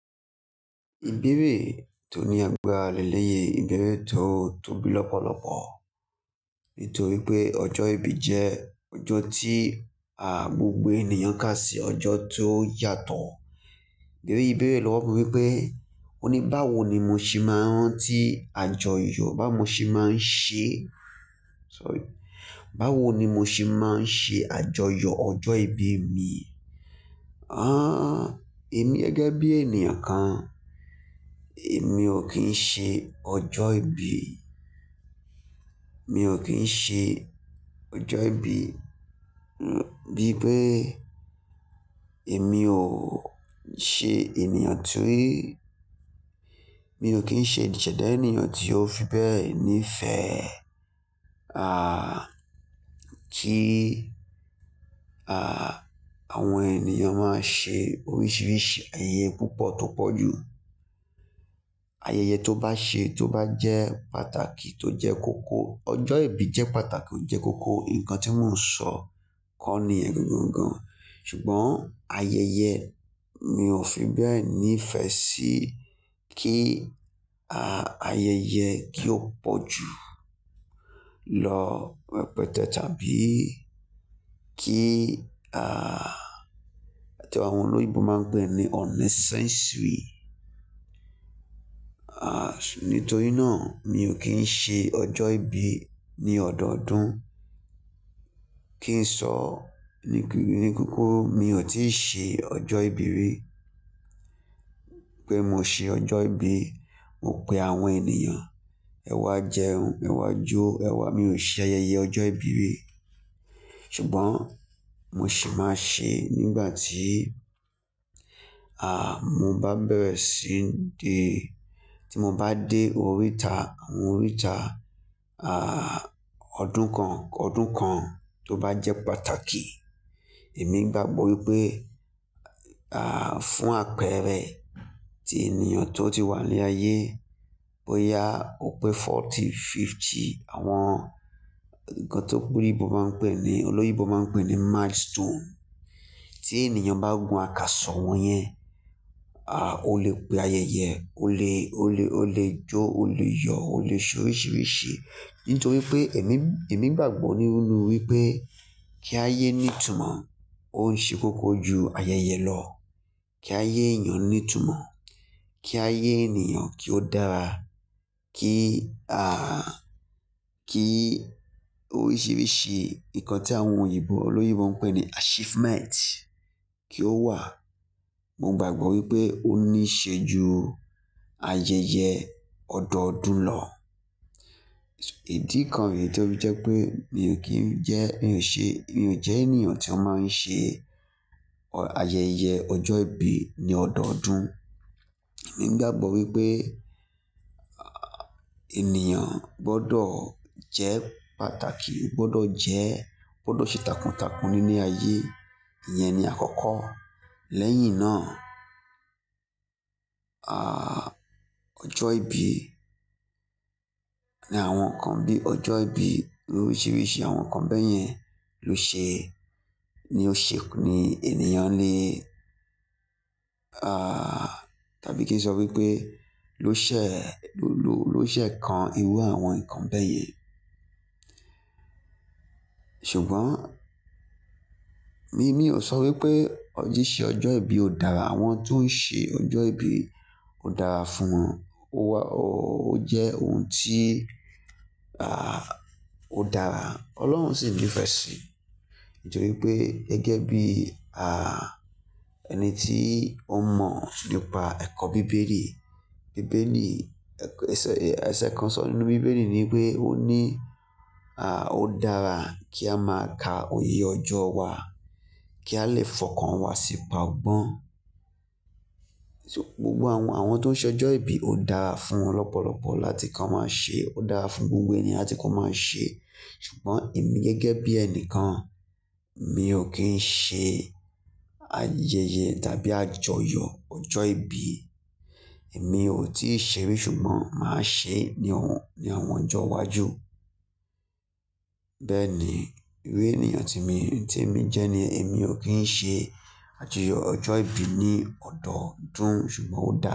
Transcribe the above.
Ìbẹ̀rẹ̀ tó ní agbára lélẹ̀yẹ ìbẹ̀rẹ̀ tó tóbi lọ́pọ̀lọ́pọ̀ nítorí pé ọjọ́ ìbí jẹ́ ọjọ́ tí à gbogbo ènìyàn kà sí ọjọ́ tó yàtọ̀. Eleyí ìbéèrè lọ́wọ́ mi wípé ó ní báwo ni mo ṣe máa ń rántí àjọyọ̀ bá mo ṣe máa ń ṣe, sorry, báwo ni mo ṣe máa ń ṣe àjọyọ̀ ọjọ́ ìbí mi? Ah, èmi gẹ́gẹ́ bí ènìyàn kan, èmi ò kí ń ṣe ọjọ́ ìbí, mi ò kí ń ṣe ọjọ́ ìbí bí pé èmi ò ṣe ènìyàn tí, mi ò kí ń ṣe ìṣẹ̀dá ènìyàn tí ó fi bẹ́ẹ̀ ní ìfẹ́. Ah, kí ah àwọn ènìyàn máa ṣe oríṣiríṣi ayẹyẹ púpọ̀ tó pọ̀ jù. Ayẹyẹ tó bá ṣe tó bá jẹ́ pàtàkì tó jẹ́ kòkò, ọjọ́ ìbí jẹ́ pàtàkì ó jẹ́ kòkò, nǹkan tí mò ń sọ kọ́ nìyẹn gangan. Ṣùgbọ́n ayẹyẹ mi ò fi bẹ́ẹ̀ ní ìfẹ́ sí kí ah ayẹyẹ kí ó pọ̀ jù lọ repẹte tàbí kí ah bí àwọn olóyinbo máa ń pè é ní unnecessary. Ah nítorí náà mi ò kí ń ṣe ọjọ́ ìbí ní ọdọọdún. Kí ń sọ nì-- ní kókó mi ò tíì ṣe ọjọ́ ìbí rí pé mo ṣe ọjọ́ ìbí, mo pe àwọn ènìyàn, "Ẹ wá jẹun, ẹ wá jó, ẹ wá "Mi ò ṣe ayẹyẹ ọjọ́ ìbí rí. Ṣùgbọ́n mo sì máa ṣe nígbà tí ah mo bá bẹ̀rẹ̀ síí dé, tí mo bá dé oríta, àwọn oríta ah ọdún kan, ọdún kan tó bá jẹ́ pàtàkì. Èmi gbàgbọ́ wípé ah fún àpẹẹrẹ ti ènìyàn tó ti wà ní ayé bóyá ó pé forty, fifty àwọn nǹkan ti olóyinbo máa ń pè é ní milestone. Tí ènìyàn bá gun àkàsọ̀ wọnyẹn, ah o lè pe ayẹyẹ, o lè, o lè, o lè jó, o lè yọ̀, o lè ṣe oríṣiríṣi. Nítorí pé èmi, èmi gbàgbọ́ nínu wípé kí ayé ní ìtumọ̀, ó ń ṣe kòkò ju ayẹyẹ lọ. Kí ayé ènìyàn ní ìtumọ̀, kí ayé ènìyàn kí ó dára, kí ah kí oríṣiríṣi nǹkan tí àwọn òyìnbó olóyinbo ń pè ní achievement kí ó wà. Mo gbàgbọ́ wípé ó ní ṣe ju ayẹyẹ ọdọọdún lọ. Ìdí kan ree tó fi jẹ́ pé mi ò kí ń jẹ́, mi ò ṣe, mi ò jẹ́ ènìyàn tí ó máa ń ṣe ọ-- ayẹyẹ ọjọ́ ìbí ní ọdọọdún. Èmi gbàgbọ́ wípé ah ènìyàn gbọdọ̀ jẹ́ pàtàkì, ó gbọdọ̀ jẹ́, ó gbọdọ̀ ṣe takuntakun nínú ayé, ìyẹn ni àkọ́kọ́. Lẹ́yìn náà, ah ọjọ́ ìbí ní àwọn nǹkan bí ọjọ́ ìbí oríṣiríṣi àwọn nǹkan bẹ́ẹ̀ yẹn ló ṣe, ni ó ṣe ni ènìyàn le ah tàbí kí n sọ wípé ló ṣẹ̀, ló ló, ló ṣẹ̀ kan irú àwọn nǹkan bẹ́ẹ̀ yẹn. Ṣùgbọ́n mi, mi ò sọ wípé siṣe ọjọ́ ìbí ò dára, àwọn tó ń ṣe ọjọ́ ìbí ó dára fún wọn. Ó wá, o jẹ́ ohun tí ah ó dára, Ọlọ́run sì ńífẹ́ sí i. Nítorípé gẹ́gẹ́ bí ah ẹni tí ó mọ̀ nípa ẹ̀kọ́ bíbélì, bíbélì ẹsẹ, ẹsẹ kan sọ nínú bíbélì ní wípé ó ní ah ó dára kí a máa ka oyeyọjọ́ wa kí a lè fọkàn wa sípa ogbọ́n. Ṣùgbọ́n àwọn tó ń ṣe ọjọ́ ìbí ó dára fún wọn lọ́pọ̀lọpọ̀ láti kí wọ́n máa ṣe, ó dára fún gbogbo ènìyàn kí wọ́n máa ṣe. Ṣùgbọ́n èmi gẹ́gẹ́ bí ẹnìkan mi ò kí ń ṣe ayẹyẹ tàbí àjọyọ̀ ọjọ́ ìbí. Èmi ò tíì ṣe rí ṣùgbọ́n màá ṣe ní ọ̀hun, ní àwọn ọjọ́ iwájú. Bẹ́ẹ̀ ni, ìru ènìyàn tí mi, tí mi jẹ́ ni èmi ò kí ń ṣe àjọyọ̀ ọjọ́ ìbí ní ọdọọdún ṣùgbọ́n ó dára.